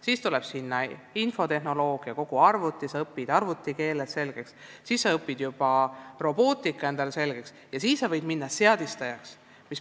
Siis tuleb infotehnoloogia, ta õpib arvutikeele selgeks, siis ta õpib juba robootika selgeks ja võib minna seadistajaks.